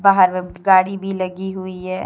बाहर म गाड़ी भी लगी हुई है।